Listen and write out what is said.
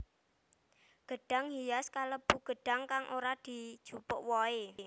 Gedhang hias kalêbu gêdhang kang ora dijupuk wohe